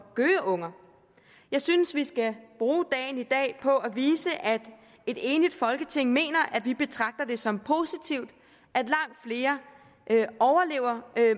gøgeunger jeg synes vi skal bruge dagen i dag på at vise at et enigt folketing mener at vi betragter det som noget positivt at langt flere overlever